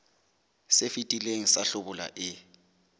se fetileng sa hlabula e